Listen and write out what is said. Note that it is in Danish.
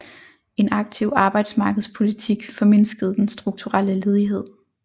En aktiv arbejdsmarkedspolitik formindskede den strukturelle ledighed